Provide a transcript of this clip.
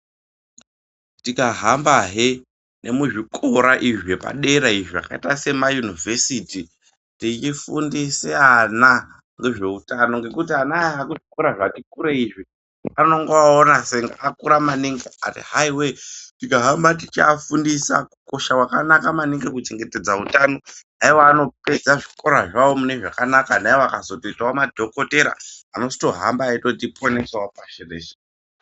Tikahamba hee nemuzvikora izvi zvepadera izvii zvakaita semayunivhesiti tichifundise ana ngezveutano ngekuti ana aya ekuzvikora zvati kurei izvi anenge oona senge atokura maningi kani hai wee tikahamba teiwafundisa kukosha maningi kwakaite kuchengetedza utano aiwa anopedza zvikora zvawo mune zvakanaka ana akazotoitawo madhokotera anozoto hambawo eitiponesa pashi rese.